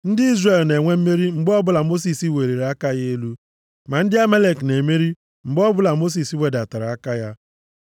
Ndị Izrel na-enwe mmeri mgbe ọbụla Mosis weliri aka ya elu, ma ndị Amalek na-emeri mgbe ọbụla Mosis wedatara aka ya.